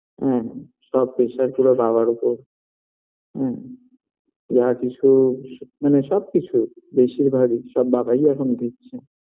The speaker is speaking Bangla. হুম সব pressure পুরো বাবার ওপর হুম যা কিছু মানে সবকিছু বেশিরভাগই সব বাবাই এখন দিচ্ছে